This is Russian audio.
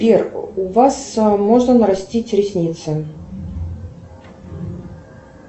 сбер у вас можно нарастить ресницы